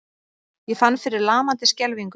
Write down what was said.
Ég fann fyrir lamandi skelfingu.